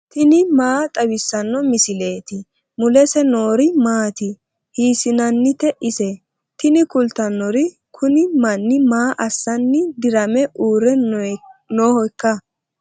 tini maa xawissanno misileeti ? mulese noori maati ? hiissinannite ise ? tini kultannori kuni manni maa assanni dirame uure noohoikka